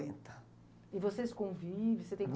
E vocês convivem? Você tem